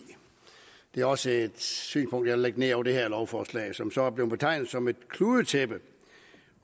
det er også et synspunkt jeg vil lægge ned over det her lovforslag som så er blevet betegnet som et kludetæppe